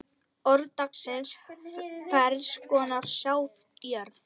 Orð dagsins Ferns konar sáðjörð